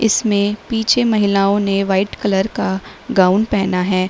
इसमें पीछे महिलाओं ने व्हाइट कलर का गाउन पहेना है।